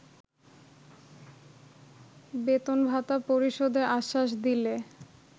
বেতন-ভাতা পরিশোধের আশ্বাস দিলে